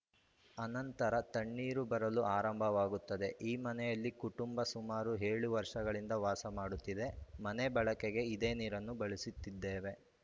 ಅನಂತರ ತಣ್ಣೀರು ಬರಲು ಆರಂಭವಾಗುತ್ತದೆ ಈ ಮನೆಯಲ್ಲಿ ಕುಟುಂಬ ಸುಮಾರು ಏಳು ವರ್ಷಗಳಿಂದ ವಾಸ ಮಾಡುತ್ತಿದೆ ಮನೆ ಬಳಕೆಗೆ ಇದೇ ನೀರನ್ನು ಬಳಸುತ್ತಿದ್ದೇವೆ